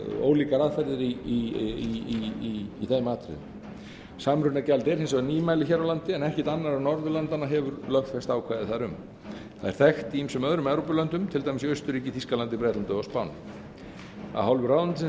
ólíkar aðferðir í þeim atriðum samrunagjald er nýmæli hér á landi en ekkert annarra norðurlandanna hefur lögfest ákvæði þar um það er þekkt í ýmsum öðrum evrópulöndum til dæmis í austurríki þýskalandi bretlandi og á spáni af hálfu ráðuneytisins